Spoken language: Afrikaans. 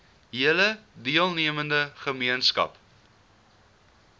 hele deelnemende gemeenskap